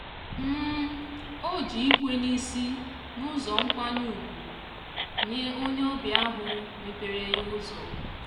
o ji ikwe n'isi n'ụzọ nkwanye ugwu nye onye ọbịa ahụ mrpeere ya ụzọ.